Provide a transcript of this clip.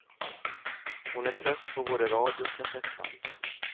Hon är trött på både radio och kassettband.